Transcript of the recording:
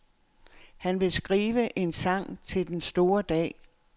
Han vil skrive en sang til den store dag.